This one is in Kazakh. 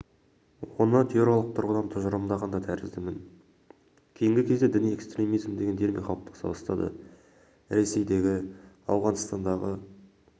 оны теориялық тұрғыдан тұжырымдаған да тәріздімін кейінгі кезде діни экстремизм деген термин қалыптаса бастады ресейдегі ауғанстандағы